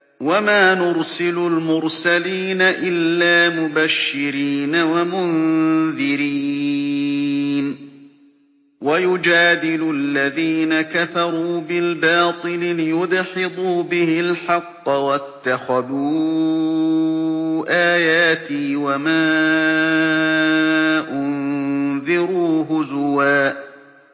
وَمَا نُرْسِلُ الْمُرْسَلِينَ إِلَّا مُبَشِّرِينَ وَمُنذِرِينَ ۚ وَيُجَادِلُ الَّذِينَ كَفَرُوا بِالْبَاطِلِ لِيُدْحِضُوا بِهِ الْحَقَّ ۖ وَاتَّخَذُوا آيَاتِي وَمَا أُنذِرُوا هُزُوًا